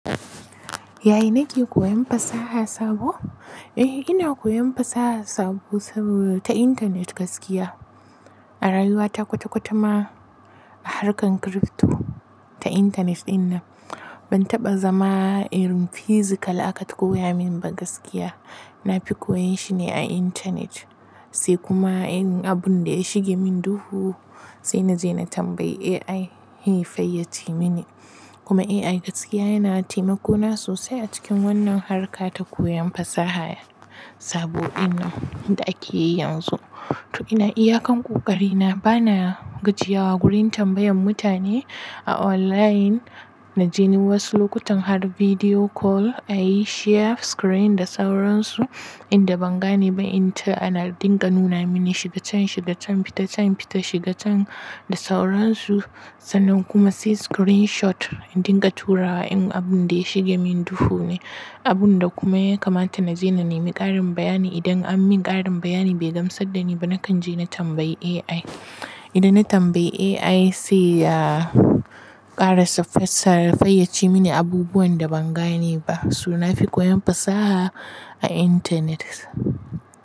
Yaya nake koyan fasaha sabo? Eh ina koyan fasaha sabo ta intanet gaskiya. A rayuwa ta kwata-kwata ma a harkar crypto ta intanet ɗin nan. Ban taɓa zama irin physical aka koya min ba gaskiya. Na fi koyon shine a intanet sai kuma abun da ya shige min duhu sai na je na tambayi AI ya fayyaci mini. Kuma AI gaskiya yana taimako na sosai a cikin wannan harka ta koyan fasaha sabo din nan da ake yi yanzu. To ina iyakan ƙoƙari na bana gajiyawa wurin tambayan mutane a online. Na je ni wasu lokutan har video call a yi share screen da sauransu inda ban gane ba inta ana dinga nuna mini shiga can shiga can fita can fita shiga can da sauransu sannan kuma sai screenshot indinga turawa in abun da ya shige min duhu ne. Abun da kuma ya kamata na je na nemi ƙarin bayani idan ammin ƙarin bayani bai gamsar da ni ba nakan je na tambayi AI. Idan na tambayi AI sai ya ƙara fayyaci mini abubuwan da ban gane ba. So na fi koyan fasaha a intanet.